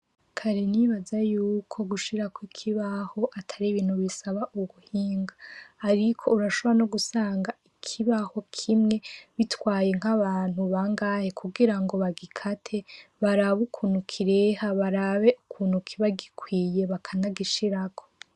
Kare n'ibaza yuko gushirako ikibaho Atari ibintu bisaba ubuhinga. Ariko urashobora no gusanga ikibaho kimwe gitwaye nk'abantu bangahe kugira ngo bagikate, barabe ukuntu kireha, barabe ukuntu kiba gikwiye bakanagishirako.